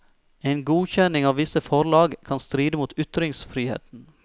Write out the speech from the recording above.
En godkjenning av visse forlag kan stride mot ytringsfriheten.